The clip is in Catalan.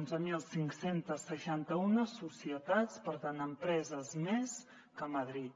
onze mil cinc cents i seixanta un societats per tant empreses més que a madrid